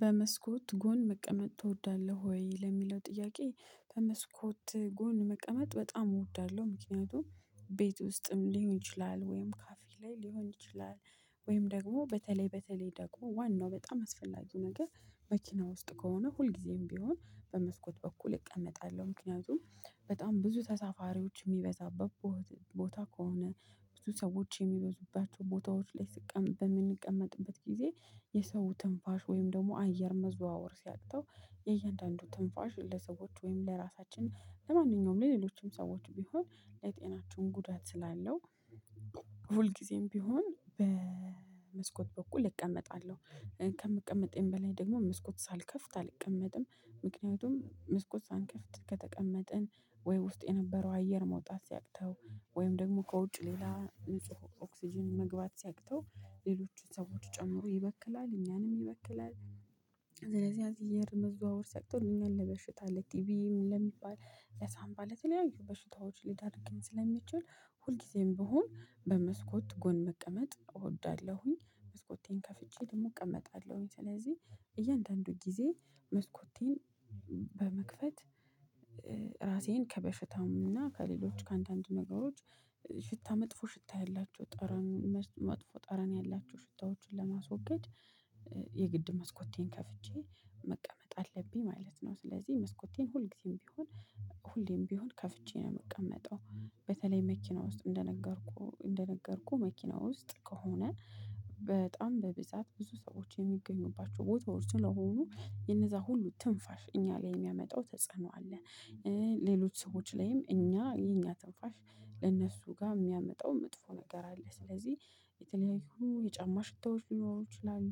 በመስኮት ጎን መቀመጥ ትወዳለህ? ወይ ለሚለው ጥያቄ በመስኮት ጎን መቀመጥ በጣም እወዳለሁ። ምክንያቱም ቤት ውስጥም ሊሆን ይችላል ወይም ካፌ ላይ ሊሆን ይችላል። ወይም ደግሞ በተለይ በተለይ ደግሞ ዋናው በጣም አስፈላጊ ነገር መኪና ውስጥ ከሆነ ሁልጊዜም ቢሆን በመስኮት በኩል እቀመጣለሁ። ምክንያቱም በጣም ብዙ ተሳፋሪዎች የሚበዛበት ቦታ ከሆነ ብዙ ሰዎች የሚበዙባቸው ቦታዎች ላይ ስቀ በምንቀመጥበት ጊዜ የሰው ትንፋሽ ወይም ደግሞ አየር መዘዋወር ሲያቅተው የእያንዳንዱ ትንፋሽ ለሰዎች ወይም ለራሳችን ለማንኛውም ለሌሎችም ሰዎች ቢሆን ለጤናችን ጉዳት ስላለው ሁል ጊዜም ቢሆን በመስኮት በኩል እቀመጣለሁ። ከምቀመጤም በላይ ደግሞ መስኮት ሳልከፍት አልቀመጥም። ምክንያቱም ሳንከፍት ከተቀመጥን ወይ ውስጥ የነበረው አየር መውጣት ሲያቅተው ወይም ደግሞ ከውጭ ሌላ ንጹህ ኦክስጅን መግባት ሲያቅተው ሌሎችን ሰዎች ጨምሮ ይበክላል እኛንም ይበክላል። ለዚህ አየር መዘዋወር ሲያቅተው እኛን ለበሽታ ለቲቪ ለሚባል ለሳምባ ለተለያዩ በሽታዎች ሊዳርገኝ ስለሚችል ሁልጊዜም ብሆን በመስኮት ጎን መቀመጥ እወዳለሁኝ መስኮቴን ከፍቼ ደግሞ እቀመጣለሁኝ። ስለዚህ እያንዳንዱ ጊዜ መስኮቴን በመክፈት ራሴን ከበሽታም እና ከሌሎች ከአንዳንድ ነገሮች ሽታ መጥፎ ሽታ ያላቸው ጠረን መጥፎ ጠረን ያላቸው ሽታዎችን ለማስወገድ የግድ መስኮቴን ከፍቼ መቀመጥ አለብኝ ማለት ነው። ስለዚህ መስኮቴን ሁልጊዜም ቢሆን ሁሌም ቢሆን ከፍቼ ነው የምቀመጠው በተለይ መኪና ውስጥ እንደነገርኩህ እንደነገርኩህ መኪና ውስጥ ከሆነ በጣም በብዛት ብዙ ሰዎች የሚገኙባቸው ቦታዎች ስለሆኑ የነዛ ሁሉ ትንፋሽ እኛ ላይ የሚያመጣው ተጽዕኖ አለ። ሌሎች ሰዎች ላይም እኛ የኛ ትንፋሽ ለእነሱ ጋር የሚያመጣው መጥፎ ነገር አለ። ስለዚህ የተለያዩ የጫማ ሽታዎች ሊሆኑ ይችላሉ።